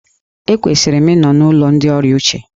Ekwesịrị m ịnọ n'ụlọ ndị ọrịa uche.